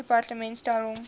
departement stel hom